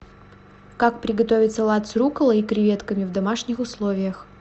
как приготовить салат с рукколой и креветками в домашних условиях